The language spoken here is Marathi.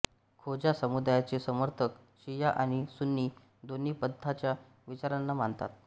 खोजा समुदायाचे समर्थक शिया आणि सुन्नी दोन्ही पंथांच्या विचारांना मानतात